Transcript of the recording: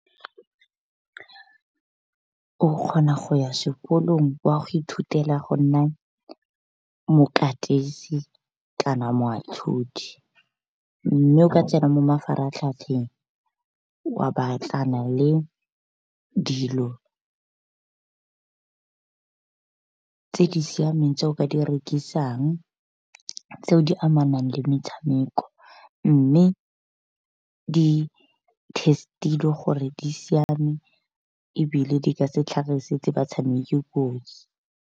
O kgona go ya sekolong wa go ithutela go nna mokatisi kana mme o ka tsena mo mafaratlhatlheng wa batlana le dilo tse di siameng tse o ka di rekisang, tseo di amanang le metshameko. Mme di-test-ilwe gore di siame, ebile di ka se tlhagisetse batshameki kotsi.